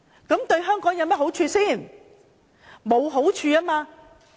這對香港有好處嗎？